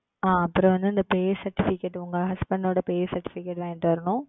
ஆஹ் அப்புறம் வந்து அந்த Pay Certificate உங்க Husband ஓட Pay Certificate எடுத்துட்டு வரணும்.